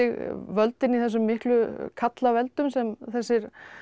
völdin í þessum miklu karlaveldum sem þessi